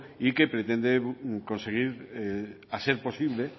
y que pretende conseguir a ser posible